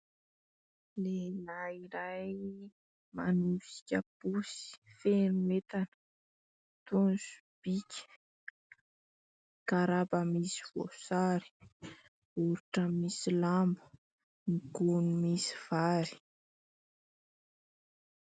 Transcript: Lehilahy iray manosika posy feno entana toy ny sobika, garaba misy voasary, baoritra misy lamba, gony misy vary.